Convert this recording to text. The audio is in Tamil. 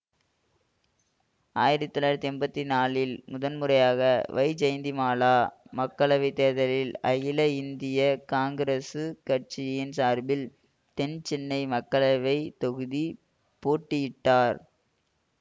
ஆயிரத்தி தொளாயிரத்தி எண்பத்தி நாலில் முதன் முறையாக வைஜெயந்திமாலா மக்களவை தேர்தலில் அகில இந்திய காங்கிரசு கட்சியின் சார்பில் தென் சென்னை மக்களவை தொகுதி போட்டியிட்டார்